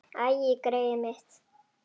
Æi, greyið mitt.